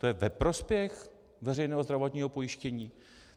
To je ve prospěch veřejného zdravotního pojištění?